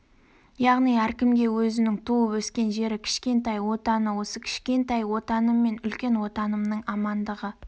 яғни әркімге өзінің туып өскен жері кішкентай отаны осы кішкентай отаныммен үлкен отанымның амандығы